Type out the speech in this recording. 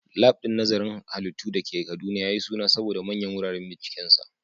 Lab din nazarin halittu da ke Kaduna ya yi suna saboda manyan wuraren bincikensa.